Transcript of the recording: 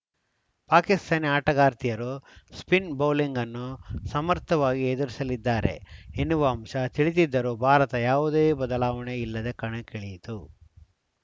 ಪಾಕಿಸ್ತಾನಿ ಆಟಗಾರ್ತಿಯರು spin bowling ಅನ್ನು ಸಮರ್ಥವಾಗಿ ಎದುರಿಸಲಿದ್ದಾರೆ ಎನ್ನುವ ಅಂಶ ತಿಳಿದಿದ್ದರೂ ಭಾರತ ಯಾವುದೇ ಬದಲಾವಣೆ ಇಲ್ಲದೆ ಕಣಕ್ಕಿಳಿಯಿತು